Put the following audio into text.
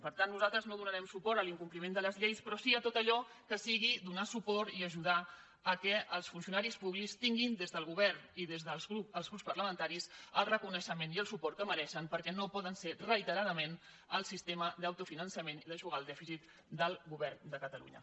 per tant nosaltres no donarem suport a l’incompliment de les lleis però sí a tot allò que sigui donar suport i ajudar que els funcionaris públics tinguin des del govern i des dels grups parlamentaris el reconeixement i el suport que mereixen perquè no poden ser reiteradament el sistema d’autofinançament i d’eixugar el dèficit del govern de catalunya